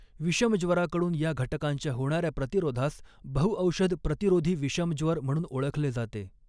विषमज्वराकडून या घटकांच्या होणाऱ्या प्रतिरोधास बहुऔषध प्रतिरोधी विषमज्वर म्हणून ओळखले जाते.